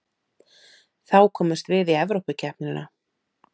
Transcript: Þá komumst við í Evrópukeppnina